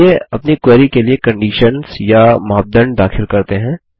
चलिए अपनी क्वेरी के लिए कंडीशन्स या मापदंड दाखिल करते हैं